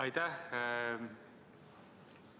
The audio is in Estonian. Aitäh!